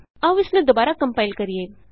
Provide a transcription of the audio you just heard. ਆਉ ਇਸਨੂੰ ਦੁਬਾਰਾ ਕੰਪਾਇਲ ਕਰੀਏ